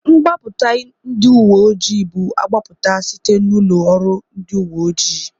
Mgbapụta ndị uwe ojii bu agbapụta site n'ụlọ oru ndị uwe ojii.